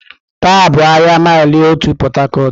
Taa bụ ahịa Maịlị Otu Port Harcourt.